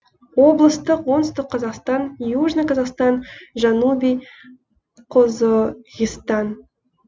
облыстық оңтүстік қазақстан южный казахстан жанубий қозоғистан